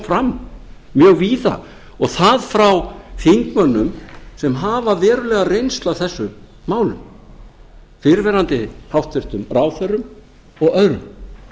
fram mjög víða og það frá þingmönnum sem hafa verulega reynslu af þessum málum fyrrverandi hæstvirtum ráðherrum og öðrum